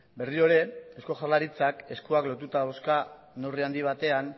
berriro ere eusko jaurlaritzak eskuak lotuta dauzka neurri handi batean